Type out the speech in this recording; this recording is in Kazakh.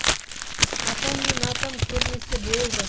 апам мен атам көрмесе болды